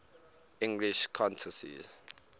english countesses